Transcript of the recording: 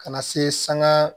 Ka na se sanŋa